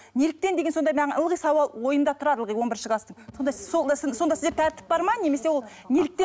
неліктен деген сондай маған ылғи сауал ойымда тұрады ылғи он бірінші класстың сонда сол сондай сізде тәртіп бар ма немесе ол неліктен